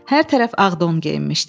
Hər tərəf ağ don geyinmişdi.